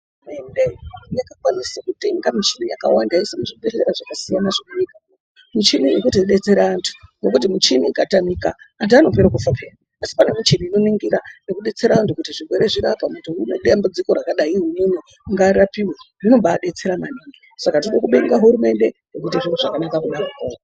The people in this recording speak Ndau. Hurumende yakwanise kutenga michini yakawanda yeiisa muzvibhedhlera zvakasiyana munyika. Michini inotidetsera antu ngekuti michini ikatotamika antu anotopera kufa peyani asi pane michini inoningira nekudetsera antu kuti zvirwere zvirapwe. Munhu anedambudziko rakadayi ngaarapiwe. Zvinombaadetsera maningi. Saka tinoda kubonga hurumende ngezviro zvakanaka kudaro.